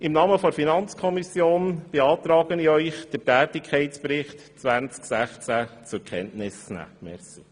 Im Namen der FiKo beantrage ich Ihnen, den Tätigkeitsbericht 2016 zur Kenntnis zu nehmen.